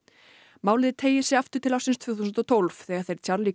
málið teygir sig aftur til ársins tvö þúsund og tólf þegar þeir Charlie